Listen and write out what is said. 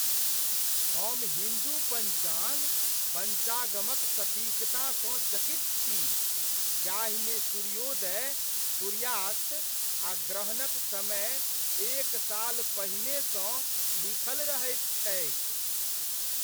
हम हिन्दू पञ्चाङ्ग, पञ्चागमक सटीकता सँ चकित छी, जाहिमे सूर्योदय, सूर्यास्त, आ ग्रहणक समय एक साल पहिनेसँ लीखल रहैत छैक।